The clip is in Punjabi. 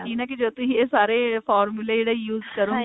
ਯਕੀਨ ਹੈਂ ਜਦੋਂ ਤੁਸੀਂ ਇਹ ਸਾਰੇ formula ਦਾ use ਕਰੋਂਗੇ